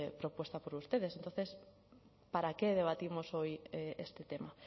propuesta por ustedes entonces para qué debatimos hoy este tema